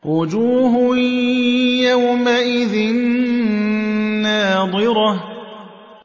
وُجُوهٌ يَوْمَئِذٍ نَّاضِرَةٌ